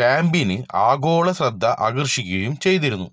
കാമ്പയിന് ആഗോള ശ്രദ്ധ ആകര്ഷിക്കുകയും ചെയ്തിരുന്നു